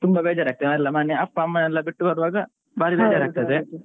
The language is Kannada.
ತುಂಬಾ ಬೇಜಾರ್ ಆಗ್ತದೆ ಅಲ್ಲಾ, ಅಪ್ಪ ಅಮ್ಮನ್ನೆಲ್ಲ ಬಿಟ್ಟು ಬರುವಾಗ ಬಾರಿ ಬೇಜಾರ್ ಆಗ್ತದೆ.